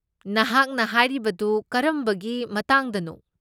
ꯅꯍꯥꯛꯅ ꯍꯥꯏꯔꯤꯕꯗꯨ ꯀꯔꯝꯕꯒꯤ ꯃꯇꯥꯡꯗꯅꯣ?